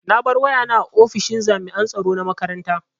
Na bar wayana a ofishin jami'an tsaro na makaranta.